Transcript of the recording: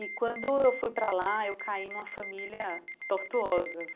E quando eu fui para lá, eu caí numa família tortuosa.